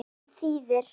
sem þýðir